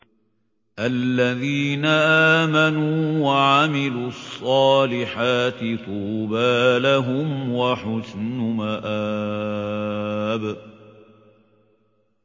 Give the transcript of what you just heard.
الَّذِينَ آمَنُوا وَعَمِلُوا الصَّالِحَاتِ طُوبَىٰ لَهُمْ وَحُسْنُ مَآبٍ